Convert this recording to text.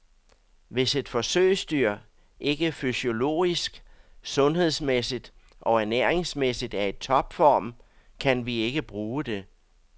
Hvis et forsøgsdyr ikke fysiologisk, sundhedsmæssigt og ernæringsmæssigt er i topform, kan vi ikke bruge det.